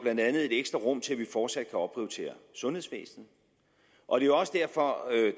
et ekstra rum til at vi fortsat kan opprioritere sundhedsvæsenet og det er også derfor